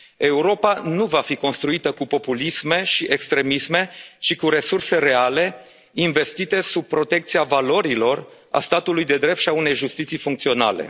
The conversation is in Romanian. Europa nu va fi construită cu populisme și extremisme, ci cu resurse reale investite sub protecția valorilor, a statului de drept și a unei justiții funcționale.